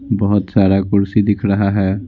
बहुत सारा कुर्सी दिख रहा है।